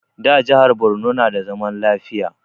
Da a jihar Borno na da zaman lafiya